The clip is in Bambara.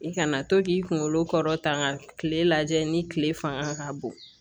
I kana to k'i kunkolo kɔrɔta kile lajɛ ni kile fanga ka bon